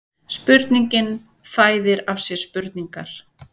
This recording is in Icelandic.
Spurningin fæðir af sér spurningar